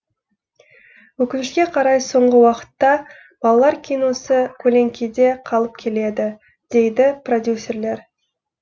өкінішке қарай соңғы уақытта балалар киносы көлеңкеде қалып келеді дейді продюсерлер